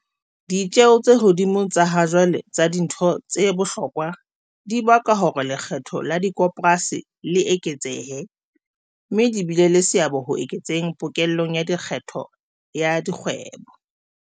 Ditjeo tse hodimo tsa ha jwale tsa dintho tse bohlokwa, dibaka hore lekgetho la dikoporasi le eketsehe, mme di bile le seabo ho eketseng pokello ya lekgetho ya dikgwebo.